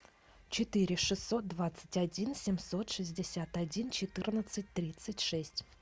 четыре шестьсот двадцать один семьсот шестьдесят один четырнадцать тридцать шесть